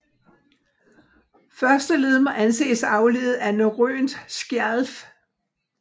Første led må anses afledet af norrønt Skjalf